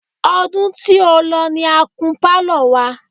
Ọdún tí ó lọ ní a kun Pálọ̀ wa.